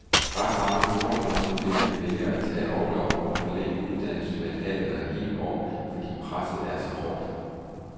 Ret mange jordemoderstuderende vælger at tage orlov og forlænge uddannelsen med et halvt eller et helt år, fordi presset er så hårdt.